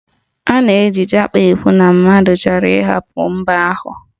A na-eji Japa ekwu na mmadụ chọrọ ịhapụ mba ahụ